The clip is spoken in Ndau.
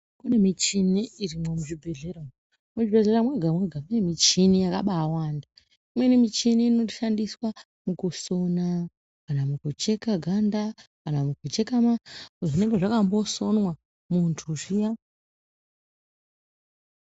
Pane michini irimo muzvibhedhlera umu muzvibhedhlera zvega zvega mune michini yakawanda imweni michini inoshandiswa mukusona kana kucheka ganda kana kucheka zvinenge zvakambosonwa muntu zviya.